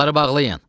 Qapıları bağlayın.